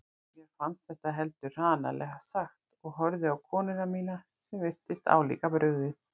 Mér fannst þetta heldur hranalega sagt og horfði á konuna mína sem virtist álíka brugðið.